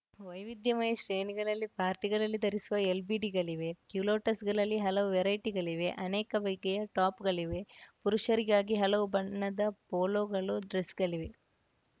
ವೈವಿಧ್ಯಮಯ ಶ್ರೇಣಿಗಳಲ್ಲಿ ಪಾರ್ಟಿಗಳಲ್ಲಿ ಧರಿಸುವ ಎಲ್‌ಬಿಡಿಗಳಿವೆ ಕ್ಯುಲೋಟ್ಸ್‌ಗಳಲ್ಲಿ ಹಲವು ವೆರೈಟಿಗಳಿವೆ ಅನೇಕ ಬಗೆಯ ಟಾಪ್‌ಗಳಿವೆ ಪುರುಷರಿಗಾಗಿ ಹಲವು ಬಣ್ಣದ ಪೊಲೋಗಳು ಡ್ರೆಸ್‌ಗಳಿವೆ